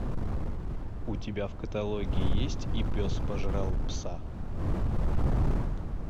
у тебя в каталоге есть и пес пожрал пса